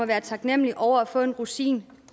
være taknemmelig over at få en rosin